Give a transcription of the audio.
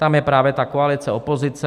Tam je právě ta koalice, opozice.